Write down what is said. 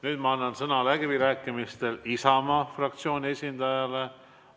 Nüüd ma annan sõna läbirääkimistel Isamaa fraktsiooni esindajale.